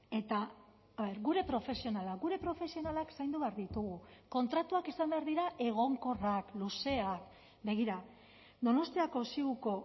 eta gure profesionalak gure profesionalak zaindu behar ditugu kontratuak izan behar dira egonkorrak luzeak begira donostiako ziuko